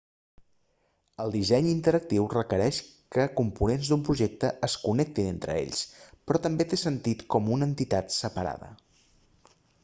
el disseny interactiu requereix que components d'un projecte es connectin entre ells però també té sentit com a entitat separada